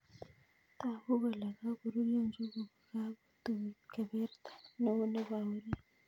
Tagu kole kakorurio njuguk kokako tuit keberta neo nebo orit